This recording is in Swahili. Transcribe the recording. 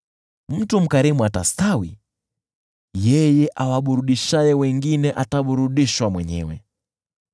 Mtu mkarimu atastawi; yeye awaburudishaye wengine ataburudishwa mwenyewe.